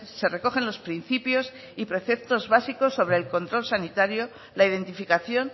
se recogen los principios y preceptos básicos sobre el control sanitario la identificación